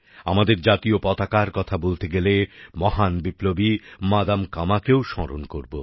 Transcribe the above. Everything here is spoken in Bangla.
আমাদের জাতীয় পতাকার কথা বলতে গেলে মহান বিপ্লবী মাদাম কামাকেও স্মরণ করব